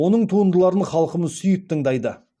оның туындыларын халқымыз сүйіп тыңдайды